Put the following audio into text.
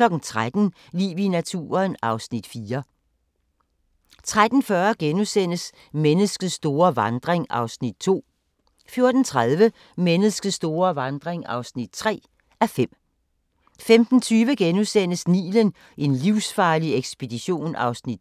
13:00: Liv i naturen (Afs. 4) 13:40: Menneskets store vandring (2:5)* 14:30: Menneskets store vandring (3:5) 15:20: Nilen: en livsfarlig ekspedition (2:4)*